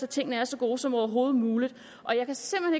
tingene er så gode som overhovedet muligt og jeg kan simpelt